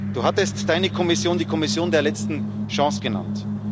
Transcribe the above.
Du hattest Deine Kommission die Kommission der letzten Chance genannt.